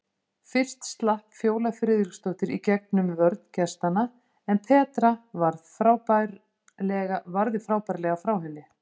Fyrst slapp Fjóla Friðriksdóttir í gegn um vörn gestanna en Petra varði frábærlega frá henni.